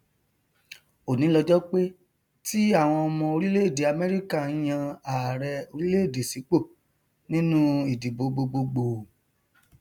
òní lọjọ pé ti àwọn ọmọ orílẹèdè amẹrika nyan ààrẹ orílẹèdè sípò nínú ìdìbò gbogbo gbòò